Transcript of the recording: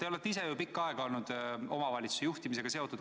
Te olete ise pikka aega olnud omavalitsuse juhtimisega seotud.